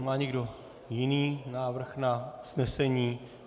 Má někdo jiný návrh na usnesení?